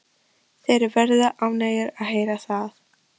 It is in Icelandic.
Þeir verða ánægðir að heyra það.